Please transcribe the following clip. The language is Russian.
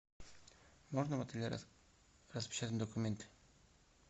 можно в отеле распечатать документы